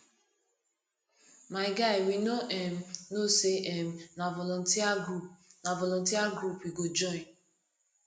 my guy we no um know say um na volunteer group na volunteer group we go join